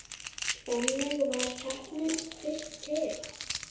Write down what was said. Þannig varð keppnin fyrst til.